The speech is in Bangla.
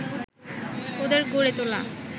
ওদের গড়ে তোলা